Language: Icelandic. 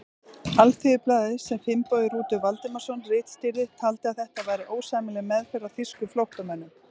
Alþýðublaðið, sem Finnbogi Rútur Valdimarsson ritstýrði, taldi að þetta væri ósæmileg meðferð á þýskum flóttamönnum.